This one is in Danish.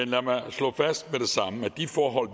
lad mig slå fast med det samme at de forhold